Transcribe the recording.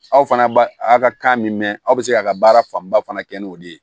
Aw fana b'a a ka kan min mɛn aw bɛ se k'a ka baara fanba fana kɛ n'o de ye